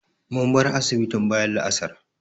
mun bar asibitin bayan la'asar